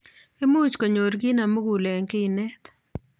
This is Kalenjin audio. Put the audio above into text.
Imuch konyor kii nemugul eng kinet